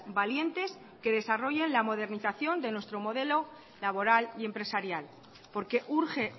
valientes que desarrollen la modernización de nuestro modelo laboral y empresarial porque urge